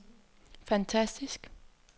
fantastisk